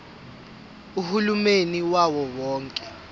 uhulumeni wawo wonke